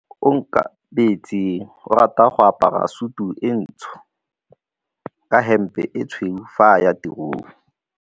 Onkabetse o rata go apara sutu e ntsho ka hempe e tshweu fa a ya tirong.